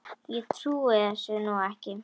Ég trúi þessu nú ekki!